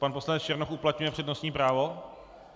Pan poslance Černoch uplatňuje přednostní právo?